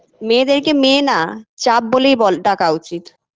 মেয়েদেরকে মেয়ে না চাপ বলেই বল ডাকা উচিত